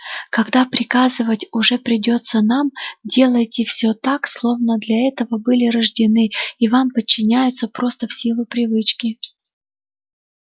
когда приказывать уже придётся нам делайте все так словно вы для этого были рождены и вам подчиняются просто в силу привычки